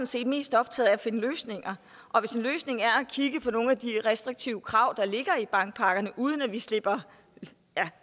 set mest optaget af at finde løsninger og hvis en løsning er at kigge på nogle af de restriktive krav der ligger i bankpakkerne uden at vi slipper